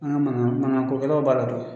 An ga mana mana manakokɛlaw b'a la